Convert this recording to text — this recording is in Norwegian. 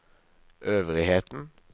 øvrigheten